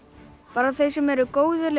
bara þeir sem eru góðir